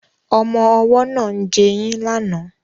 Ọmọ ọwọ́ náà ń jẹyín lánàá